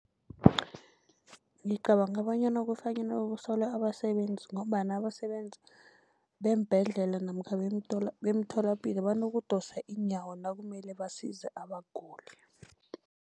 Ngicabanga bonyana kufanele kusolwe abasebenzi, ngombana abasebenzi beembhedlela namkha bemtholapilo banokudosa iinyawo nakumele basize abaguli.